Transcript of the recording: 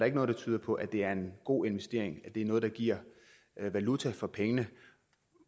ikke noget der tyder på at det er en god investering at det er noget der giver valuta for pengene